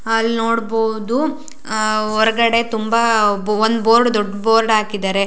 ಅಲ್ಲನೋಡಬಹುದು ಅಹ್ ಹೊರಗಡೆ ತುಂಬಾ ಒನ್ ಬೋರ್ಡ್ ದೊಡ್ಡ ಬೋರ್ಡ್ ಹಾಕಿದರೆ.